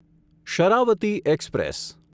Sharavati express